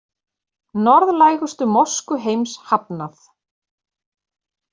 Norðlægustu mosku heims hafnað